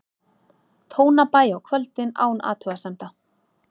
Tónabæ á kvöldin án athugasemda.